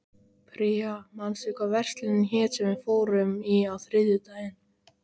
Pría, manstu hvað verslunin hét sem við fórum í á þriðjudaginn?